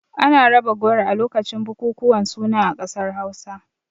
Ana raba goro a lokacin bukukuwan suna a ƙasar Hausa.